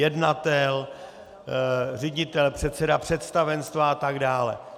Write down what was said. Jednatel, ředitel, předseda představenstva a tak dále.